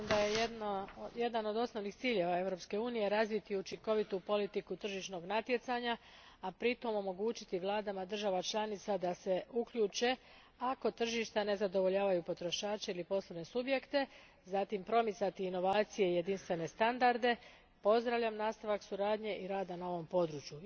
Gospodine predsjedniče, s obzirom da je jedan od osnovnih ciljeva Europske unije razviti učinkovitu politiku tržišnog natjecanja, a pritom omogućiti vladama država članica da se uključe ako tržišta ne zadovoljavaju potrošače ili poslovne subjekte, zatim promicati inovacije i jedinstvene standarde, pozdravljam nastavak suradnje i rada na ovom području.